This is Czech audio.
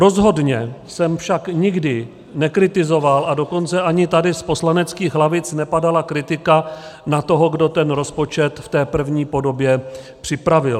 Rozhodně jsem však nikdy nekritizoval, a dokonce ani tady z poslaneckých lavic nepadala kritika na toho, kdo ten rozpočet v té první podobě připravil.